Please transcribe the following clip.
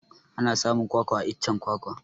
Ana samun kwakwa a iccen kwakwa